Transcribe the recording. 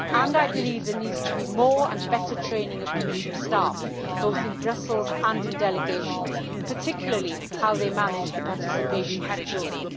I believe there needs to be more and better training of Commission staff both in Brussels and in delegations particularly in how they manage the participation of children.